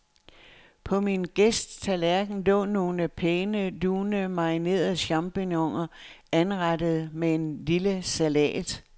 På min gæsts tallerken lå nogle pæne, lune, marinerede champignoner anrettet med en lille salat.